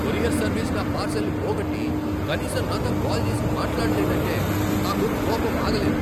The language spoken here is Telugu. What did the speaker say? కొరియర్ సర్వీస్ నా పార్శిల్ను పోగొట్టి, కనీసం నాతో కాల్ చేసి మాట్లాడలేదంటే నాకు కోపం ఆగలేదు.